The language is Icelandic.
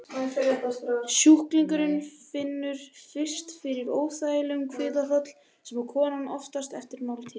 Sjúklingurinn finnur fyrst fyrir óþægindum í kviðarholi, sem koma oftast eftir máltíð.